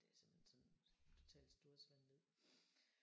Det er simpelthen sådan totalt storhedsvanvid